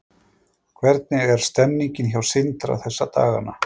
Hvernig er stemmningin hjá Sindra þessa dagana?